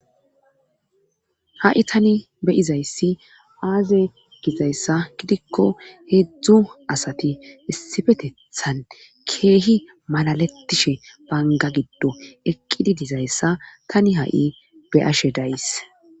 Ha'i tani be izayssi aaze gizayssa gidikko heedzdzu asati issifetethan keehi malalettishe banga giddo eqqidi dizayssa tani ha7i be ashe days